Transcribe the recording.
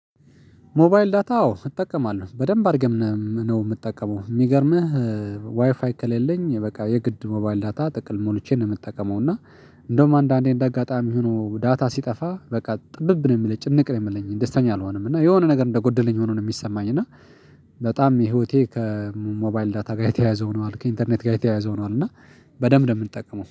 ሞባይል ዳታ አዎ እጠቀማለሁ በደንብ አድርጌም ነው የምጠቀመው የሚገርምህ ዋይፋይ ከሌለኝ በቃ የግድ ሞባይል ዳታ ጥቅል ሞልቼ ነው የምጠቀመው። እና እንደውም አንዳንዴ እንደ አጋጣሚ ሆኖ ዳታ ሲጠፋ በቃ ጥብብ ነው የሚለኝ ጭንቅ ነው የሚለኝ ደስተኛ አልሆነም እና የሆነ ነገር እንደጎደለኝ ሆኖ ነው የሚሰማኝ። እና በጣም ህይወቴ ከሞባይል ዳታ ጋር የተያያዘ ሆኗል ከኢንተርኔት ጋር የተያያዘ ሆኗል። እና በደንብ ነው የምንጠቀመው